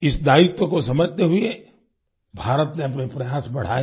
इस दायित्व को समझते हुए भारत ने अपने प्रयास बढ़ाए